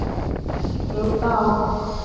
Ekki brjóta á okkur.